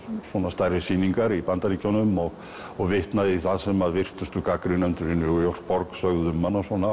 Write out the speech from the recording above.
stærri sýningar í Bandaríkjunum og og vitnað í það sem virtustu gagnrýnendur í New York sögðu um hana